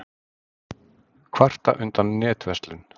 Kvarta undan netverslun